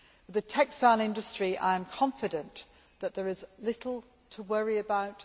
The textile industry I am confident that there is little to worry about.